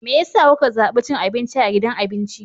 Me yasa kuka zabi cin abinci a gidan abinci?